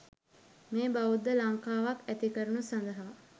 මේ බෞද්ධ ලංකාවක් ඇති කරනු සඳහා